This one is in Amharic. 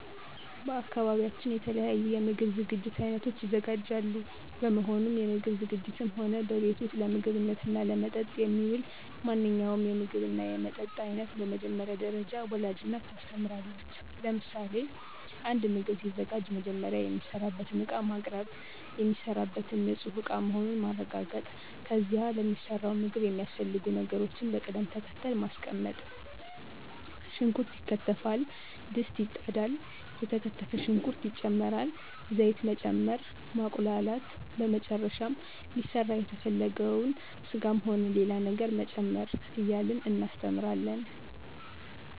በአካባቢያችን የተለያዩ የምግብ ዝግጅት አይነቶች ይዘጋጃሉ በመሆኑም ምግብ ዝግጂትም ሆነ በቤት ውስጥ ለምግብነትና ለመጠጥ የሚውል ማንኛውንም የምግብና የመጠጥ አይነት በመጀመሪያ ደረጃ ወላጅ እናት ታስተምራለች ለምሳሌ፦ አንድ ምግብ ሲዘጋጅ መጀመሪያ የሚሰራበትን እቃ ማቅርብ፣ የሚሰራበትን እቃ ንፁህ መሆኑን ማረጋገጥ ከዚያ ለሚሰራው ምግብ የሚያስፈልጉ ነገሮችን በቅድም ተከተል ማስቀመጥ ሽንኩርት ይከተፋል፣ ድስት ይጣዳል፣ የተከተፈ ሽንኩርት ይጨመራል፣ ዘይት መጨመር፣ ማቁላላት በመጨረሻም ሊሰራ የተፈለገውን ስጋም ሆነ ሌላ ነገር መጨመር እያልን እናስተምራለን።